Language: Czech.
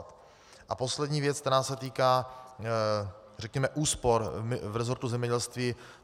A poslední věc, která se týká, řekněme, úspor v resortu zemědělství.